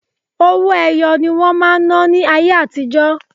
Owó ẹyọ ni wọ́n máa ń ná ní ayé àtijọ́.